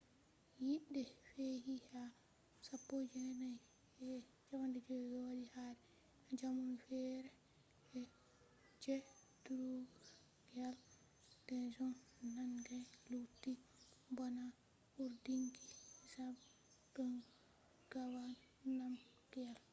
yite fe'i ha 1951 wadi kare jamanu fere je drukgyal dzong nangai lutti bana cuurdinki zhabdrung ngawang namgyal